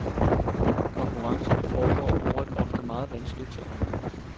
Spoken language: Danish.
Konkurrencerne foregår over et ofte meget vanskeligt terræn.